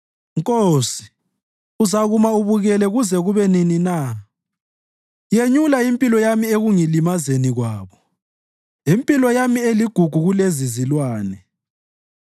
Nkosi, uzakuma ubukele kuze kube nini na? Yenyula impilo yami ekungilimazeni kwabo, impilo yami eligugu kulezizilwane.